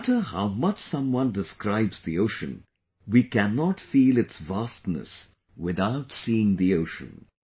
No matter how much someone describes the ocean, we cannot feel its vastness without seeing the ocean